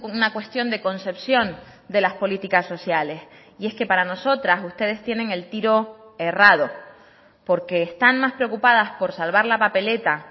una cuestión de concepción de las políticas sociales y es que para nosotras ustedes tienen el tiro errado porque están más preocupadas por salvar la papeleta